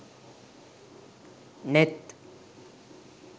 neth